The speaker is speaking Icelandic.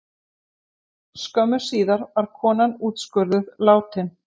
Skömmu síðar var konan úrskurðuð látin